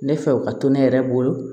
Ne fɛ o ka to ne yɛrɛ bolo